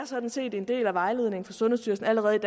sådan set er en del af vejledningen fra sundhedsstyrelsen allerede i